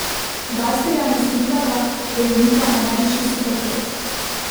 Gajserja ne skrivata, da ju mika ameriški superkros.